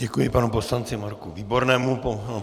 Děkuji panu poslanci Marku Výbornému.